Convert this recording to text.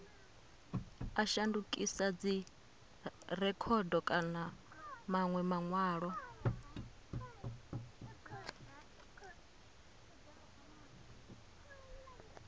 a shandukisa dzirekhodo kana manwe manwalo